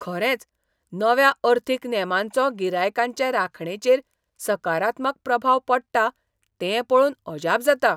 खरेंच, नव्या अर्थीक नेमांचो गिरायकांचे राखणेचेर सकारात्मक प्रभाव पडटा तें पळोवन अजाप जाता.